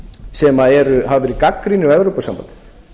sem hafa verið gagnrýnir á evrópusambandið